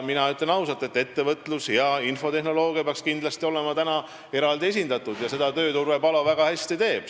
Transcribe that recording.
Mina ütlen ausalt, et ettevõtlus ja infotehnoloogia peaks kindlasti olema praegu eraldi esindatud ja seda tööd teeb Urve Palo väga hästi.